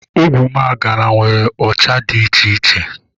Ogwumagana nwere ụcha dị iche iche.